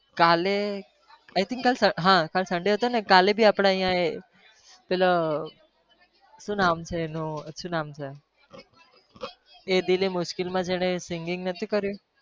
કાલે i think કાલે હા કાલે Sunday હતોને કાલે भी આપણા અહિયાં એ પેલો શું નામ છે એનુ શું નામ છે? એ દિલ એ મુશ્કિલમાં જેને singing નથી કર્યું.